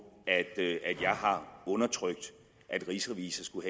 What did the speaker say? at jeg har undertrykt at rigsrevisor skulle